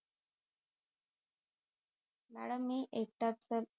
madam मी एक त्यात तर